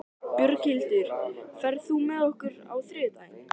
Björghildur, ferð þú með okkur á þriðjudaginn?